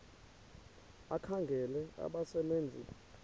ekhangela abasebe nzi